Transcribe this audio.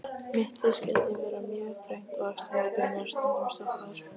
Mittið skyldi vera mjög þröngt og axlirnar beinar, stundum stoppaðar.